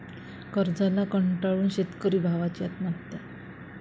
कर्जाला कंटाळून शेतकरी भावांची आत्महत्या